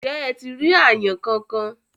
ǹjẹ́ ẹ ti rí àyàn kankan?